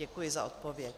Děkuji za odpověď.